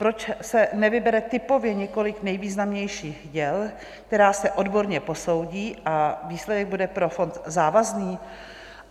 Proč se nevybere typově několik nejvýznamnějších děl, která se odborně posoudí, a výsledek bude pro fond závazný?